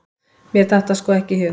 Mér datt það sko ekki í hug!